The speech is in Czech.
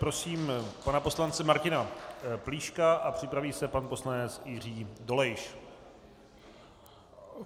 Prosím pana poslance Martina Plíška a připraví se pan poslanec Jiří Dolejš.